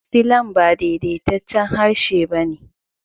Silan ba daidaitaccen harshe ba ne.